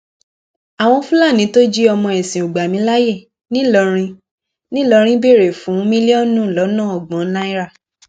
àwọn fúlàní tó jí ọmọ ẹsìnògbàmíláyè ńìlọrin ńìlọrin béèrè fún mílíọnù lọnà ọgbọn náírà